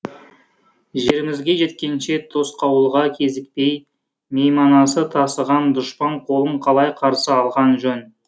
жерімізге жеткенше тосқауылға кезікпей мейманасы тасыған дұшпан қолын қалай қарсы алған жөн